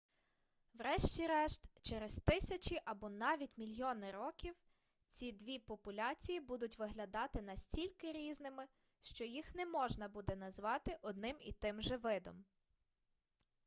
врешті-решт через тисячі або навіть мільйони років ці дві популяції будуть виглядати настільки різними що їх не можна буде назвати одним і тим же видом